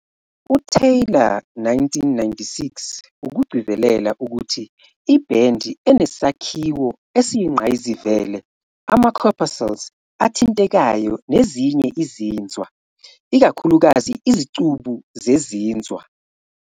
UTaylor, 1996, ukugcizelela ukuthi "ibhendi enesakhiwo esiyingqayizivele, ama-corpuscle athintekayo nezinye izinzwa, ikakhulukazi izicubu zezinzwa".